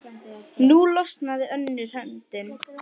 Nú losnaði önnur höndin.